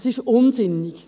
Das ist unsinnig.